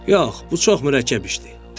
Yox, bu çox mürəkkəb işdir.